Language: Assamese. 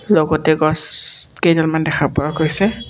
লগতে গছ কেইডালমান দেখা পোৱা গৈছে।